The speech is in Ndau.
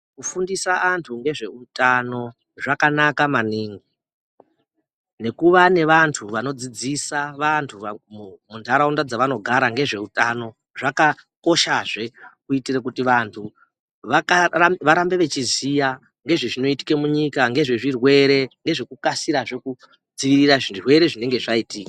Kufundisa antu ngezvehutano zvakanaka maningi. Nekuva nevantu vanodzidzisa vantu munharaunda dzavanogara ngezvehutano zvakakoshazve. Kuitire kuti vantu varambe vechiziya ngezve zvinoitaka munyika ngezvezvirwere ngezvekukasirazve kudzivirira zvirwere zvinenge zvaitika.